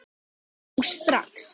Nú strax!